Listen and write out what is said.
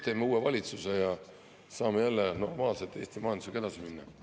Teeme uue valitsuse ja saame jälle normaalselt Eesti majandusega edasi minna.